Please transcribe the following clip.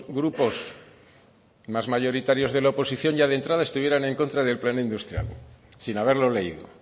grupos más mayoritarios de la oposición ya de entrada estuvieran en contra del plan industrial sin haberlo leído